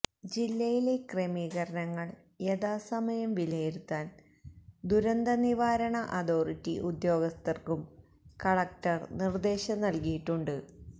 ജില്ലായിലെ ക്രമീകരണങ്ങള് യഥാസമയം വിലയിരുത്താന് ദുരന്ത നിവാരണ അതോറിറ്റി ഉദ്യോഗസ്ഥര്ക്കും കളക്ടര് നിര്ദേശം നല്കിയിട്ടുണ്ട്